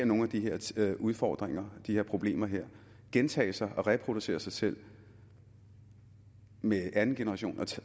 nogle af de her udfordringer de her problemer gentage sig og reproducere sig selv med anden generation og